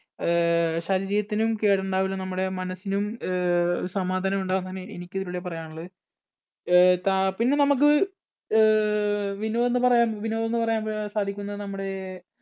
അഹ് ശരീരത്തിനും കേട് ഉണ്ടാവുകയില്ല നമ്മുടെ മനസ്സിനും അഹ് സമാധാനം ഉണ്ടാകും അങ്ങനെ എനിക്ക് ഇതിലൂടെ പറയാനുള്ളത്. അഹ് താ പിന്നെ നമുക്ക് അഹ് വിനോദെന്നു പറയാം വിനോദം എന്ന് പറയാൻ സാധിക്കുന്ന നമ്മുടെ